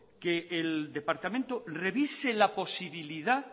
que el departamento revise la posibilidad